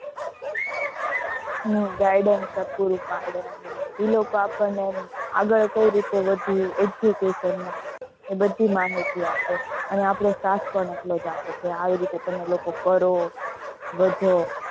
હ guidans પૂરું પાડે એ લોકો આપને આગળ કઈ રીતે વધવું education માં એ બધી માહિતી આપે આવી રીતે તમે લોકો કરો વધો